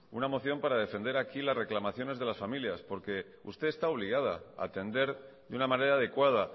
una moción para defender aquí las reclamaciones de las familias porque usted está obligada a atender de una manera adecuada